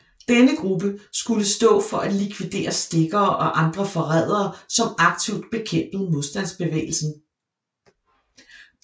Denne gruppe skulle stå for at likvidere stikkere og andre forrædere som aktivt bekæmpede modstandsbevægelsen